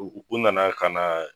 U nana ka na